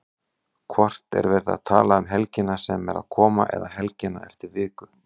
Hvort er verið að tala um helgina sem er að koma eða helgina eftir viku?